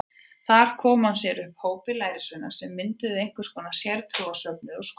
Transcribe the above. Þar kom hann sér upp hópi lærisveina sem mynduðu einhvers konar sértrúarsöfnuð og skóla.